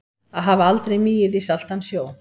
Að hafa aldrei migið í saltan sjó